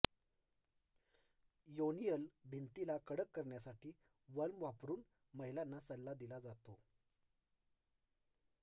योनिअल भिंतीला कडक करण्यासाठी वल्म वापरून महिलांना सल्ला दिला जातो